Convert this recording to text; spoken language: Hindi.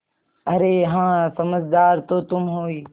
अरे हाँ समझदार तो तुम हो ही